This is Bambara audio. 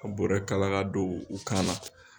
Ka bɔrɛ kala ka don u kana.